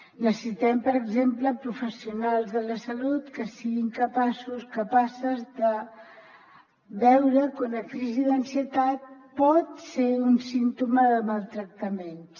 necessitem per exemple professionals de la salut que siguin capaços capaces de veure que una crisi d’ansietat pot ser un símptoma de maltractaments